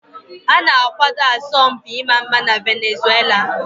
A na-akwado asọmpi ịma mma na Venezuela.